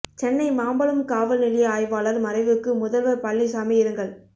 சென்னை மாம்பலம் காவல் நிலைய ஆய்வாளர் மறைவுக்கு முதல்வர் பழனிசாமி இரங்கல்